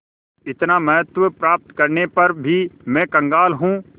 इतना महत्व प्राप्त करने पर भी मैं कंगाल हूँ